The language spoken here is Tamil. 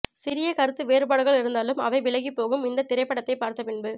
சிறிய கருத்து வேறுபாடுகள் இருந்தாலும் அவை விலகிப்போகும் இந்த திரைப்படத்தை பார்த்த பின்பு